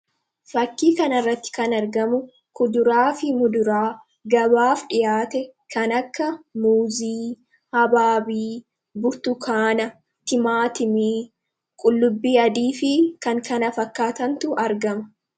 fakkii kanirratti kan argamu kuduraa fi muduraa gabaaf dhihaate kan akka muuzii habaabii burtukaana timaatimii qullubbii adii fi kankana fakkaatantu argama